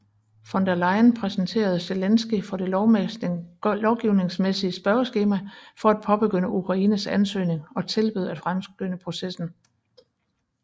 Von der Leyen præsenterede Zelenskyj for det lovgivningsmæssige spørgeskema for at påbegynde Ukraines ansøgning og tilbød at fremskynde processen